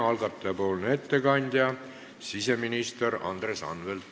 Algataja nimel teeb ettekande siseminister Andres Anvelt.